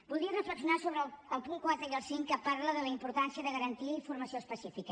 voldria reflexionar sobre el punt quatre i el cinc que parla de la importància de garantir formació especifica